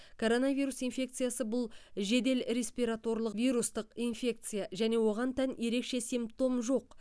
коронавирус инфекциясы бұл жедел респираторлық вирустық инфекция және оған тән ерекше симптом жоқ